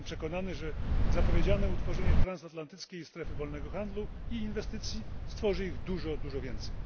Jestem przekonany, że zapowiedziane utworzenie transatlantyckiej strefy wolnego handlu i inwestycji stworzy ich dużo, dużo więcej.